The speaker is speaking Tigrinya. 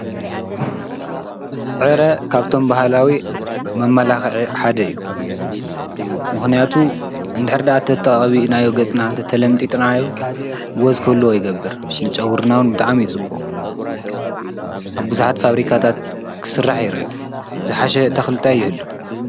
ዕረ ካብቶም ባህላዊ መማላኽዒ ሓደ እዩ ምኽንያቱ እንድሕር ደኣ ተቀቢእናዮ ገፅና ተለምጢጥናዮ ወዝ ክህልዎ ይገብር ንጨጉርና ውን ብጣዕሚ ፅቡቕ ኣብ ብዙሓት ፋብሪካታት ክስራሕ ይሪ ዝሓሸ ተኽሊ ታይ ይህሊ?